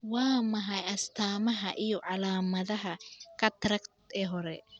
Waa maxay astamaha iyo calaamadaha cataract ee hore